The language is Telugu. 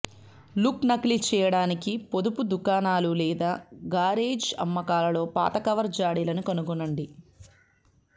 లుక్ నకిలీ చేయడానికి పొదుపు దుకాణాలు లేదా గారేజ్ అమ్మకాలలో పాత కవర్ జాడిలను కనుగొనండి